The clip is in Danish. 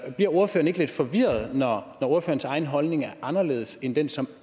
bliver ordføreren ikke lidt forvirret når ordførerens egen holdning er anderledes end den som